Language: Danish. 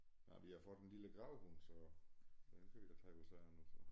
Nej vi har fået en lille gravhund så den kan vi da tage os af nu så